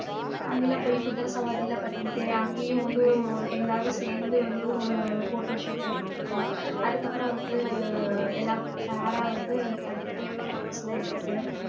அங்கெல்லாம் போய் குதிரை சவாரி எல்லாம் பண்ணிட்டு அங்கேயும் வந்து எல்லாரும் சேர்ந்து வந்து ஒரு photoshoot எடுத்துட்டு அதுக்கப்புறம் வந்து எல்லாம் pair ஆ வந்து தனித்தனியா photos எல்லாம் எடுத்துட்டு